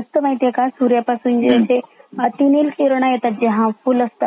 असता महती आहे काय सूर्यापासून जे ते आतूनइल किरण येतात जे हरमफूल असतात.